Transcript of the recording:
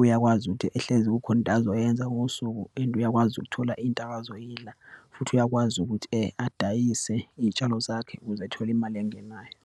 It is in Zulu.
uyakwazi ukuthi ehlezi kukhona into azoyenza ngosuku and uyakwazi ukuthola izinto akazoyidla, futhi uyakwazi ukuthi adayise iyitshalo zakho kuze athole imali engenayo.